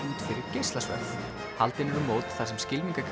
fyrir geislasverð haldin eru mót þar sem